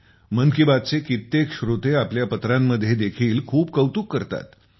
मन की बात चे कित्येक श्रोते पत्र लिहून खूप कौतुक करतात